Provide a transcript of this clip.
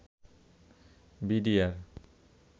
BDR